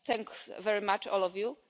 Thanks very much all of you.